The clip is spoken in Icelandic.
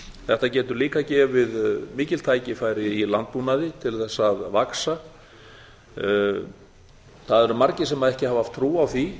þetta getur líka gefið mikil tækifæri í landbúnaði til þess að vaxa það eru margir sem ekki hafa trú á því